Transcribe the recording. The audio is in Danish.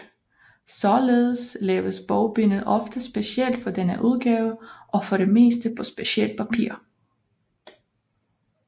Således laves bogbindet ofte specielt for denne udgave og for det meste på specielt papir